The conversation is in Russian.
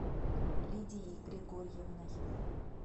лидией григорьевной